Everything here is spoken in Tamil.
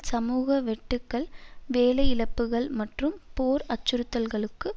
சமூக வெட்டுக்கள் வேலையிழப்புக்கள் மற்றும் போர் அச்சுறுத்தல்களுக்கு